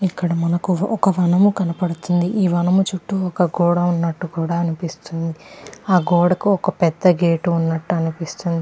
ఇక్కడ మనకి ఒక వనము కనపడుతుంది. ఈ వనము చుట్టూ ఒక గోడ ఉన్నట్టు కూడా అనిపిస్తుంది. ఆ గోడ కు ఒక పెద్ధ గేట్ ఉన్నట్టు అనిపిస్తుంది.